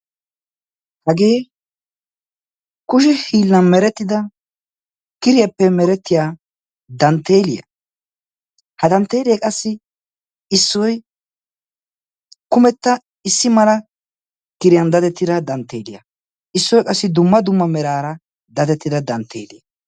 Hagee kushe hiillan merettida kiriyaappe merettiyaa dantteliyaa. ha danttelee qassi issoy kumetta issi mala kiriyaan dadettida dantteeliyaa issoy qassi dumma dumma merara dadettida dantteeliyaa.